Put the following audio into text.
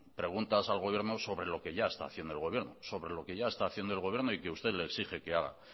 preguntas al gobierno sobre lo que ya está haciendo el gobierno y que usted le exige que haga